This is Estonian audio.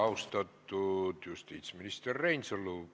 Austatud justiitsminister Reinsalu!